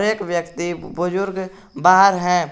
एक व्यक्ति बुजुर्ग बाहर है।